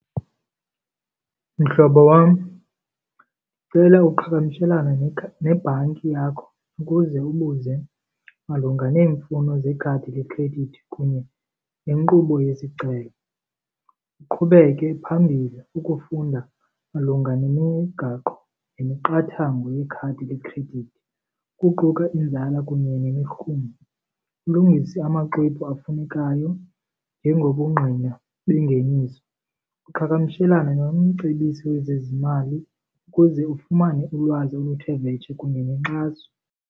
Mhlobo wam, ndicela uqhagamshelane nebhanki yakho ukuze ubuze malunga neemfuno zekhadi lekhredithi kunye nenkqubo yesicelo. Uqhubeke phambili ukufunda malunga nemigaqo nemiqathango yekhadi lekhredithi kuquka inzala kunye nemirhumo, ulungise amaxwebhu afunekayo njengobungqina bengeniso. Uqhagamshelane nomcebisi wezezimali ukuze ufumane ulwazi oluthe vetshe kunye nenkxaso.